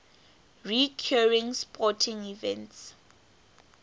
recurring sporting events